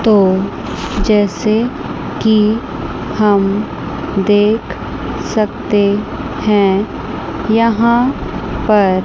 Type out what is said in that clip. तो जैसे की हम देख सकते हैं यहां पर--